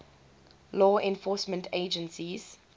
law enforcement agencies